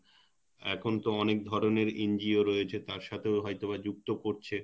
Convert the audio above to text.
এখন তো অনেক ধরনের NGO রয়েছে তার সাথেও হয়তোবা যুক্ত করছে